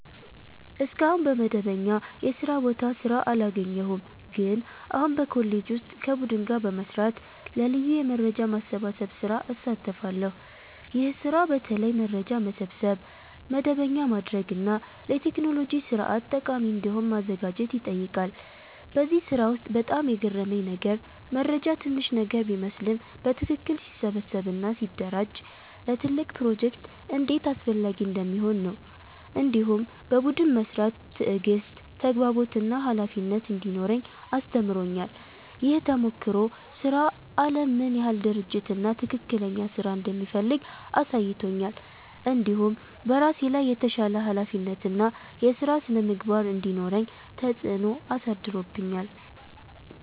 እስካሁን በመደበኛ የስራ ቦታ ስራ አላገኘሁም፣ ግን አሁን በኮሌጄ ውስጥ ከቡድን ጋር በመስራት ለ ልዩ የመረጃ ማሰባሰብ ስራ እሳተፋለሁ። ይህ ስራ በተለይ መረጃ መሰብሰብ፣ መደበኛ ማድረግ እና ለቴክኖሎጂ ስርዓት ጠቃሚ እንዲሆን ማዘጋጀት ይጠይቃል። በዚህ ስራ ውስጥ በጣም የገረመኝ ነገር መረጃ ትንሽ ነገር ቢመስልም በትክክል ሲሰበሰብ እና ሲደራጀ ለትልቅ ፕሮጀክት እንዴት አስፈላጊ እንደሚሆን ነው። እንዲሁም በቡድን መስራት ትዕግሥት፣ ተግባቦት እና ኃላፊነት እንዲኖረኝ አስተምሮኛል። ይህ ተሞክሮ ስራ አለም ምን ያህል ድርጅት እና ትክክለኛ ስራ እንደሚፈልግ አሳይቶኛል። እንዲሁም በራሴ ላይ የተሻለ ኃላፊነት እና የስራ ስነ-ምግባር እንዲኖረኝ ተጽዕኖ አሳድሮብኛል።